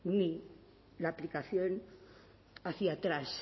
ni la aplicación hacia atrás